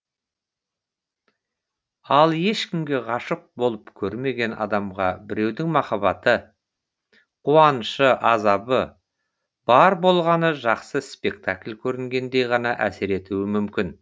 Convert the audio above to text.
ал ешкімге ғашық болып көрмеген адамға біреудің махаббаты қуанышы азабы бар болғаны жақсы спектакль көргендей ғана әсер етуі мүмкін